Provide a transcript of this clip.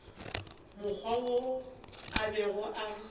mokgwa wo a bego a